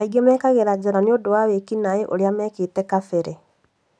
Angĩ mekagira njera nĩũndũ wa wĩkinai ũria meekĩte kabere